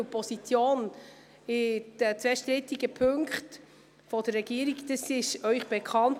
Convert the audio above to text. Die Position der Regierung bezüglich der zwei strittigen Punkte ist Ihnen bekannt.